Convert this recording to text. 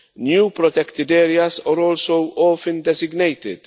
New protected areas are also often designated.